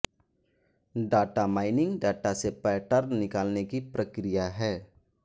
data mining data से pattern निकालने की प्रक्रिया है